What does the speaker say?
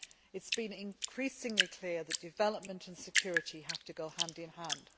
It has been increasingly clear that development and security have to go hand in hand.